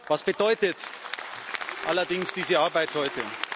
Was bedeutet allerdings diese Arbeit heute?